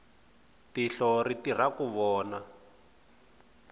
tihlo ri tirha ku vona